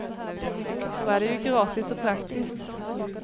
Då är det ju gratis och praktiskt.